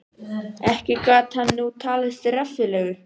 Ekki gat hann nú talist reffilegur.